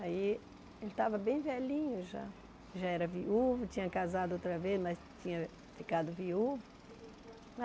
Aí ele estava bem velhinho já, já era viúvo, tinha casado outra vez, mas tinha ficado viúvo.